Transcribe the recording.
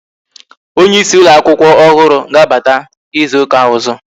Onyeisi ụlọ akwụkwọ ọhụrụ ga-abata ịzụta ọzọ